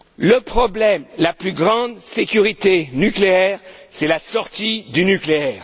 Le problème, c'est que la plus grande sécurité nucléaire, c'est la sortie du nucléaire.